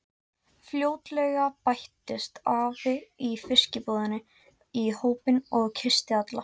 Fljótlega bættist afi í fiskbúðinni í hópinn og kyssti alla.